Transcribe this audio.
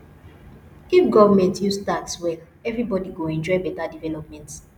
if government use tax well everybody go enjoy beta development